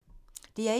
DR1